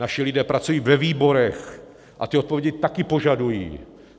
Naši lidé pracují ve výborech a ti odpovědi také požadují.